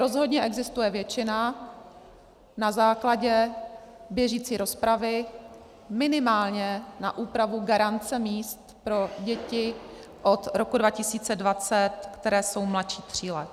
Rozhodně existuje většina na základě běžící rozpravy minimálně na úpravu garance míst pro děti od roku 2020, které jsou mladší tří let.